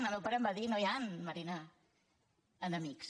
el meu pare em va dir no hi han marina enemics